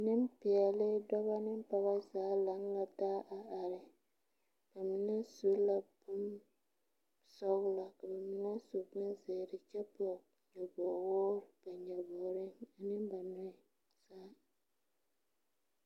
Neŋpeɛɛle dɔbɔ ne poobɔ zaa lang la taa are ba mine su la bonsɔglɔ ka ba mine su bonzeere kyɛwŋ nyobowoore ba nyobogreŋ ane ba nɔɛ zaa.